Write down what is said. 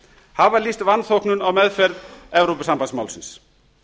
hafa lýst vanþóknun á meðferð evrópusambandsmálsins